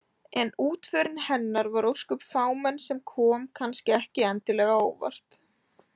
En útförin hennar var ósköp fámenn sem kom kannski ekki endilega á óvart.